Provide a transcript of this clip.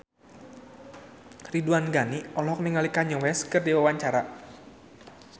Ridwan Ghani olohok ningali Kanye West keur diwawancara